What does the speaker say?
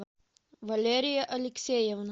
валерия алексеевна